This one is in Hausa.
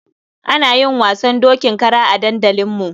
Ana yin wasan dokin kara a dandalinmu.